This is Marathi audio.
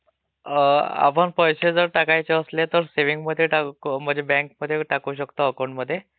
अं आपण पैसे जर टाकायचे असले तर सेविंग मध्ये म्हणजे बँक मध्ये टाकू शकतो अकाउंटमध्ये.